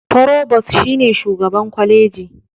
Forobos, shi ne shugaban kwaleji.